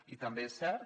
i també és cert